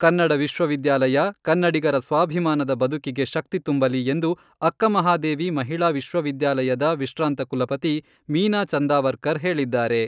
ಕನ್ನಡ ವಿಶ್ವವಿದ್ಯಾಲಯ ಕನ್ನಡಿಗರ ಸ್ವಾಭಿಮಾನದ ಬದುಕಿಗೆ ಶಕ್ತಿ ತುಂಬಲಿ ಎಂದು ಅಕ್ಕಮಹಾದೇವಿ ಮಹಿಳಾ ವಿಶ್ವ ವಿದ್ಯಾಲಯದ ವಿಶ್ರಾಂತ ಕುಲಪತಿ ಮೀನಾ ಚಂದಾವರ್ಕರ್ ಹೇಳಿದ್ದಾರೆ.